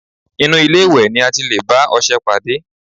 Inú ilé-ìwẹ̀ ni a ti lè bá ọṣẹ pàdé